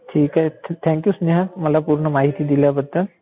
ठीक आहे. Thank you Sneha मला पूर्ण माहिती दिल्याबद्दल.